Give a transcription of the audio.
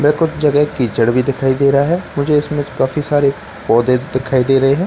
में कुछ जगह कीचड़ भी दिखाई दे रहा है मुझे इसमें काफी सारे पौधे दिखाई दे रहे हैं।